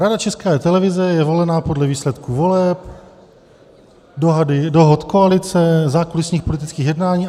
Rada České televize je volena podle výsledků voleb, dohod koalice, zákulisních politických jednání.